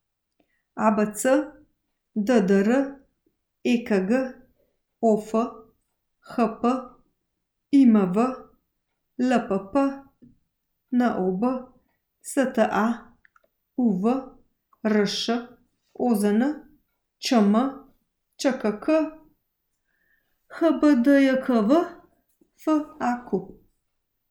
ABC, DDR, EKG, OF, HP, IMV, LPP, NOB, STA, UV, RŠ, OZN, ČM, ŽKK, HBDJKV, FAQ.